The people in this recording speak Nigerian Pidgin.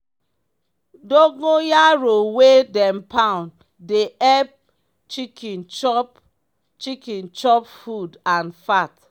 dogon yaro wey dem pound dey epp chicken chop chicken chop food and fat.